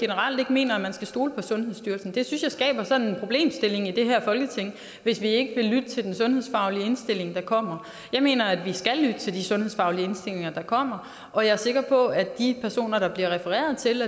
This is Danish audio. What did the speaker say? generelt ikke mener at man skal stole på sundhedsstyrelsen det synes jeg skaber sådan en problemstilling i det her folketing hvis vi ikke vil lytte til den sundhedsfaglige indstilling der kommer jeg mener at vi skal lytte til de sundhedsfaglige indstillinger der kommer og jeg er sikker på at hvis de personer der bliver refereret til